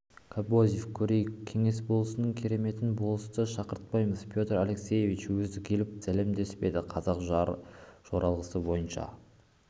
кобозев көрейік кеңес болысының кереметін болысты шақыртпаймыз петр алексеевич өзі келіп сәлемдеспеді қазақ жоралғысы бойынша